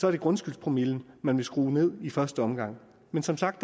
er det grundskyldspromillen man vil skrue ned i første omgang men som sagt